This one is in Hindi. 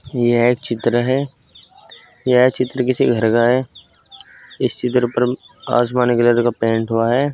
यह एक चित्र है यह चित्र किसी घर का है इस चित्र पर आसमानी कलर का पेंट हुआ है।